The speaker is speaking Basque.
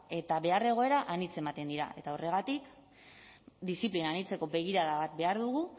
eta behar egoera anitz ematen dira eta horregatik diziplina anitzeko begirada bat behar dugu